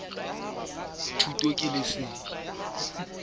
e ka suptjwa dipha ke